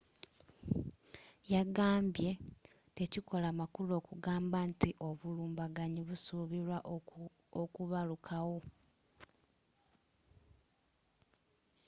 yagambye tekikola makulu kugamba nti obulumbaganyi busuubilwa okubakukawo